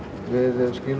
við